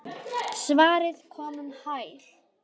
Svarið kom um hæl.